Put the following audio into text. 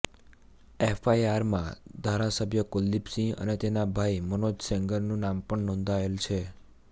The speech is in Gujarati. એફઆઈઆરમાં ધારાસભ્ય કુલદિપ સિંહ અને તેના ભાઈ મનોજ સેંગરનું નામ પણ નોંધાયેલ છે